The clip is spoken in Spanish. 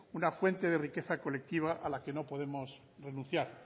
una fuente de riqueza colectiva a la que no podemos renunciar